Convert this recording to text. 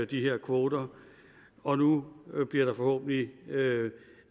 de her kvoter og nu bliver der forhåbentlig